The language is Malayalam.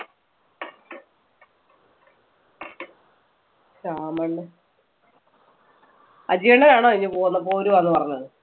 ശ്യാമളന്റെ അജിയണ്ണനാണോ ഇനി പോ~പോരുവാന്ന് പറഞ്ഞത്.